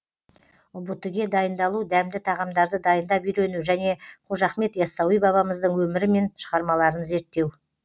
ұбт ге дайындалу дәмді тағамдарды дайындап үйрену және қожа ахмет яссауи бабамыздың өмірі мен шығармаларын зерттеу